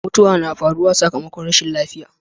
mutuwa na faruwa sakammakon rashin lafiya